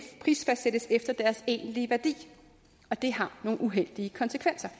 prisfastsættes efter deres egentlige værdi og det har nogle uheldige konsekvenser